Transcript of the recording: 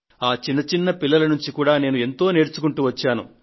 ఆ చిన్న చిన్న పిల్లల నుండి నేను ఎంతో నేర్చుకుంటూ వచ్చాను